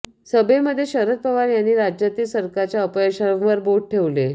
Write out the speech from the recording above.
सभेमध्ये शरद पवार यांनी राज्यातील सरकारच्या अपयशांवर बोट ठेवले